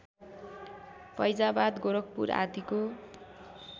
फैजाबाद गोरखपुर आदिको